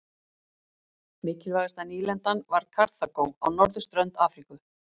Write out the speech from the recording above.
Mikilvægasta nýlendan var Karþagó á norðurströnd Afríku.